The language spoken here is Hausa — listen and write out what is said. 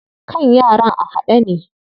Kan yaran a haɗe ne.